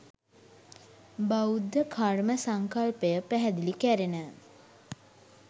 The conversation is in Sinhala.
බෞද්ධ කර්ම සංකල්පය පැහැදිලි කැරෙන